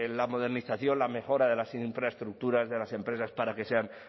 la modernización la mejora de las infraestructuras de las empresas para que sean